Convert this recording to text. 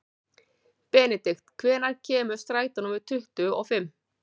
Benidikt, hvenær kemur strætó númer tuttugu og fimm?